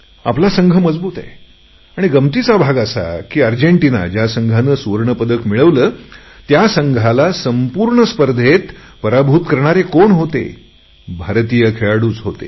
आपला संघ मजबूत आहे आणि गमंतीचा भाग असा की अर्जेंटीना ज्यांनी सुवर्णपदक मिळवले त्यांनी संपूर्ण स्पर्धेत एकच सामना गमावला त्यांना पराभूत करणारे कोण होते भारतीय खेळाडूच होते